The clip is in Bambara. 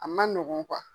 A man nɔgɔn